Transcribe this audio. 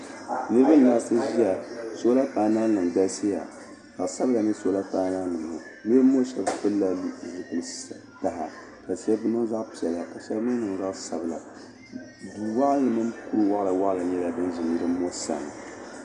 Niriba n-laɣisi ʒiya "solar panel"nima galisiya ka zaɣ'sabila n-nyɛ "solar panel"nima ŋɔ niriba ŋɔ shɛba pilila zipil'kaha ka shɛba niŋ zipil'piɛla ka shɛba mii niŋ zaɣ'sabila duu maa ni kur'waɣila waɣila nyɛla din ʒi niriba ŋɔ sani.